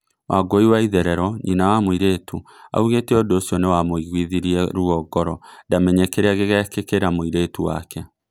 Wangui Waitherero, nyina wa mũiretu augete ũndũ ũcio nĩwamũigũithirie ruo ngoro ndamenye kiria gĩgekĩkĩra mũirĩtu wake